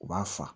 U b'a fa